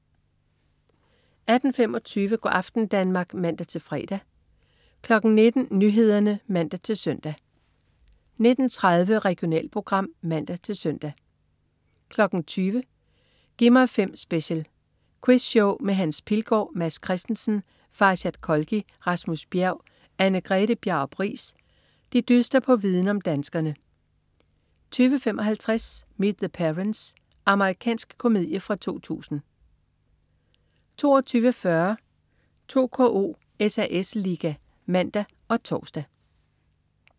18.25 Go' aften Danmark (man-fre) 19.00 Nyhederne (man-søn) 19.30 Regionalprogram (man-søn) 20.00 Gi' mig 5 Special. Quizshow med Hans Pilgaard. Mads Christensen, Farshad Kholghi, Rasmus Bjerg og Anne-Grethe Bjarup Riis dyster på viden om danskerne 20.55 Meet the Parents. Amerikansk komedie fra 2000 22.40 2KO: SAS Ligaen (man og tors)